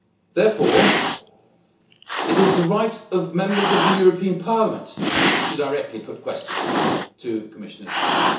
Therefore, it is the right of Members of the European Parliament to directly put questions to Commissioners-designate.